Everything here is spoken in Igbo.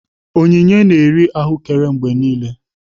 Onyinye na-eri ahụekere mgbe niile